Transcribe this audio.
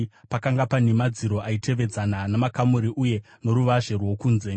Pakanga pane madziro aitevedzana namakamuri uye noruvazhe rwokunze.